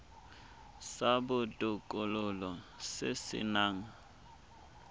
sa botokololo se se nang